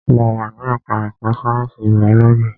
Mo wà ní ẹka ẹ̀kọ́ sáyẹnsì biology.